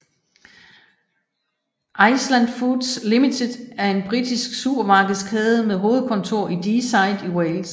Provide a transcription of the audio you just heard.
Iceland Foods Ltd er en britisk supermarkedskæde med hovedkontor i Deeside i Wales